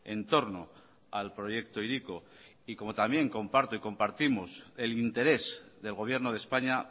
en torno al proyecto hiriko y como también comparto y compartimos el interés del gobierno de españa